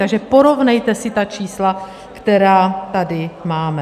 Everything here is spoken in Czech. Takže porovnejte si ta čísla, která tady máme.